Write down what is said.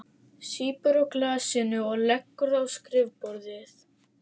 Sýpur á glasinu og leggur það á skrifborðið.